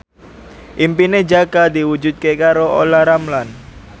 impine Jaka diwujudke karo Olla Ramlan